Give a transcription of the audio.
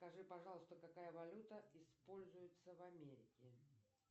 скажи пожалуйста какая валюта используется в америке